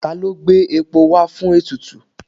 Ta ló gbé epo wá fún ètùtù?